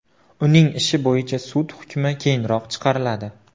Uning ishi bo‘yicha sud hukmi keyinroq chiqariladi.